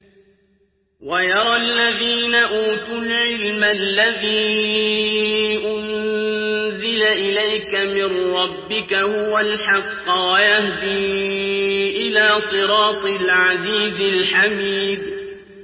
وَيَرَى الَّذِينَ أُوتُوا الْعِلْمَ الَّذِي أُنزِلَ إِلَيْكَ مِن رَّبِّكَ هُوَ الْحَقَّ وَيَهْدِي إِلَىٰ صِرَاطِ الْعَزِيزِ الْحَمِيدِ